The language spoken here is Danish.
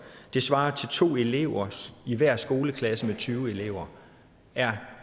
det svarer til to af eleverne i hver skoleklasse med tyve elever er